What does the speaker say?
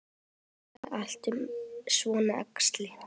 Lesa allt um svona æxli?